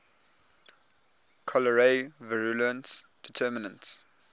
cholerae virulence determinants